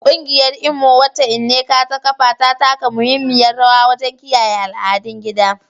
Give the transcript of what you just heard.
Kungiyar Imo, wacce Nneka ta kafa, ta taka muhimmiyar rawa wajen kiyaye al'adun gida.